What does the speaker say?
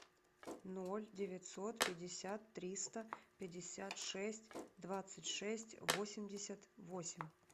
ноль девятьсот пятьдесят триста пятьдесят шесть двадцать шесть восемьдесят восемь